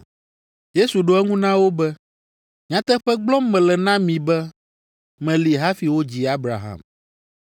Yesu ɖo eŋu na wo be, “Nyateƒe gblɔm mele na mi be meli hafi wodzi Abraham.”